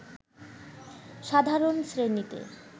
সাধারণ শ্রেণীতে